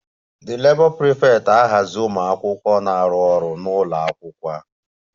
The Labour prefect ahazi ụmụ akwụkwọ na-arụ ọrụ ha n'ụlọ akwụkwọ